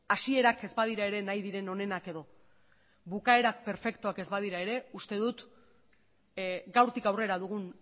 hasierak ez badira ere nahi diren onenak edo bukaerak perfektuak ez badira ere uste dut gaurtik aurrera dugun